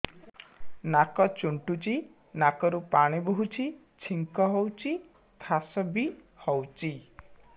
ନାକ ଚୁଣ୍ଟୁଚି ନାକରୁ ପାଣି ବହୁଛି ଛିଙ୍କ ହଉଚି ଖାସ ବି ହଉଚି